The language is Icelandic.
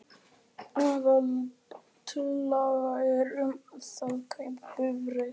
Aðaltillaga er um það að kaupa bifreið.